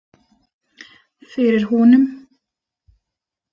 Fyrir honum.